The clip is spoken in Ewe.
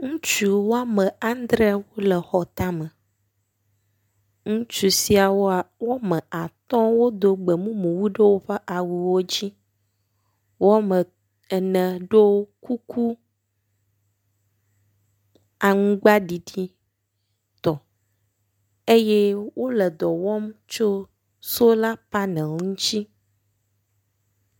Ŋutsu wɔme andre wo le xɔ ta me. Ŋutsu siawoa wɔme atɔ wodo gbemumu wu ɖe woƒe awuwo dzi. Wɔme ene ɖo kuku aŋgbaɖiɖi tɔ eye wo le dɔ wɔm tso sola panel ŋtsi.